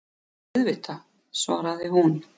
Já, auðvitað, svaraði hún.